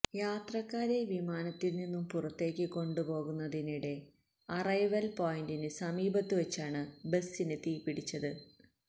യാത്രക്കാരെ വിമാനത്തില്നിന്നും പുറത്തേക്ക് കൊണ്ടുപോകുന്നതിനിടെ അറൈവല് പോയിന്റിന് സമീപത്തുവെച്ചാണ് ബസിന് തീപ്പിടിച്ചത്